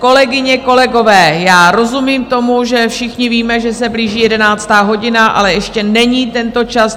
Kolegyně, kolegové, já rozumím tomu, že všichni víme, že se blíží 11. hodina, ale ještě není tento čas.